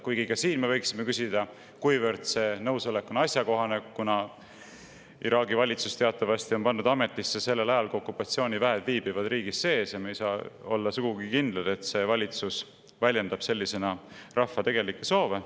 Kuigi ka siin me võiksime küsida, kui asjakohane see nõusolek on, kuna Iraagi valitsus on teatavasti pandud ametisse sellel ajal, kui okupatsiooniväed viibivad riigis sees, ja me ei saa olla sugugi kindlad, et see valitsus väljendab sellisena rahva tegelikke soove.